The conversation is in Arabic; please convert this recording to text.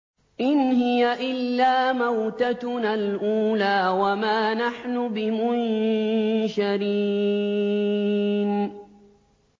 إِنْ هِيَ إِلَّا مَوْتَتُنَا الْأُولَىٰ وَمَا نَحْنُ بِمُنشَرِينَ